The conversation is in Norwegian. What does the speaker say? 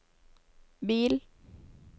bil